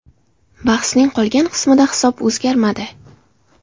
Bahsning qolgan qismida hisob o‘zgarmadi.